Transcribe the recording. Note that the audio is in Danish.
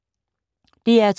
DR2